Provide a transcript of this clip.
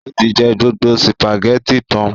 Ó tí jẹ gbogbo spàgẹ́ti tán.